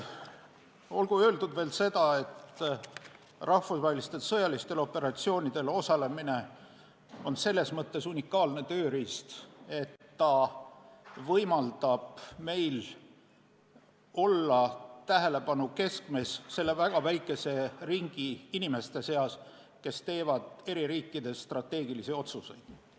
Olgu veel öeldud, et rahvusvahelistel sõjalistel operatsioonidel osalemine on selles mõttes unikaalne tööriist, et ta võimaldab meil olla tähelepanu keskmes selle väga väikese ringi inimeste seas, kes teevad eri riikides strateegilisi otsuseid.